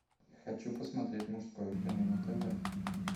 хочу посмотреть мужское кино на тв